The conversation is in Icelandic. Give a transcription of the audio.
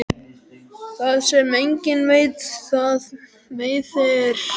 Það sem enginn veit það meiðir engan.